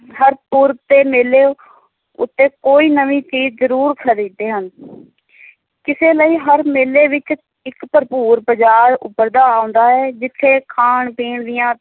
ਹਰ ਪੁਰਬ ਤੇ ਮੇਲੇ ਉੱਤੇ ਕੋਈ ਨਵੀ ਚੀਜ਼ ਜਰੂਰ ਖਰੀਦਦੇ ਹਨ ਕਿਸੇੇ ਲਈ ਹਰ ਮੇਲੇ ਵਿੱਚ ਇੱਕ ਭਰਪੂਰ ਬਜ਼ਾਰ ਉੱਭਰਦਾ ਆਉਦਾ ਹੈ, ਜਿੱਥੇ ਖਾਣ-ਪੀਣ ਦੀਆਂ